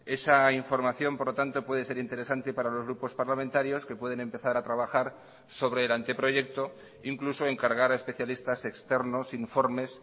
esa información por lo tanto puede ser interesante para los grupos parlamentarios que pueden empezar a trabajar sobre el anteproyecto incluso encargar a especialistas externos informes